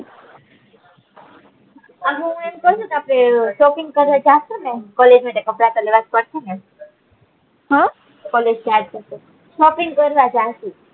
અને હું એમ કઉ છે કે આપડે શોપ્પીંગ કરવા જશું ને કોલેજ માટે કપડા છે ને હમ કોલેજ જાય છે તો શોપ્પીંગ કરવા જશું